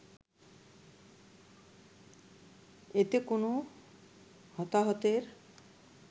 এতে কোনো হতাহতের